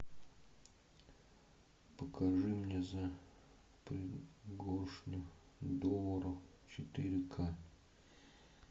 покажи мне за пригоршню долларов четыре ка